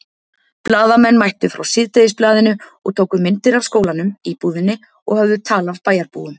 Blaðamenn mættu frá Síðdegisblaðinu og tóku myndir af skólanum, íbúðinni og höfðu tal af bæjarbúum.